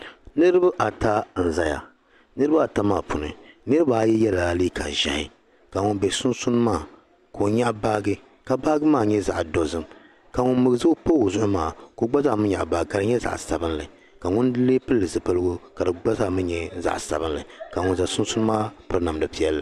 Niraba ata n ʒɛya bi puuni yino yɛla liiga ʒiɛhi ka ŋun bɛ sunsuuni maa ka o nyaɣi baaji ka baaji maa nyɛ zaɣ dozim ka ŋun pa o zuɣu maa gba nyaɣa baaji ka di gba nyɛ zaɣ sabinli ka pili zipili sabinli ka ŋun ʒɛ sunsuuni maa piri namda piɛlli